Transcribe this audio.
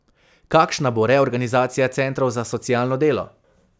Kakšna bo reorganizacija centrov za socialno delo?